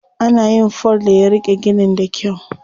Ana yin fol da ya riƙe ginin da kyau.